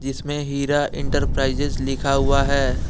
इसमें हीरा इंटरप्राइजेज लिखा हुआ है।